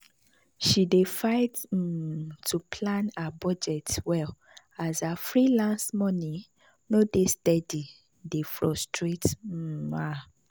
she dey fight um to plan her budget well as her freelance money no dey steady dey frustrate um her.